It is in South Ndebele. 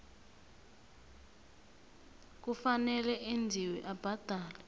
kufanele enziwe abhadele